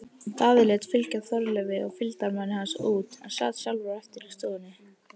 Daði lét fylgja Þorleifi og fylgdarmanni hans út en sat sjálfur eftir í stofunni.